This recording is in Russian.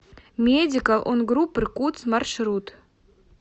медикал он груп иркутск маршрут